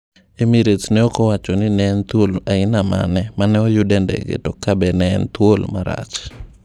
Emirates ne okowachoni ne en thuol aina mane maneoyud e ndege to kabe en thuol marach.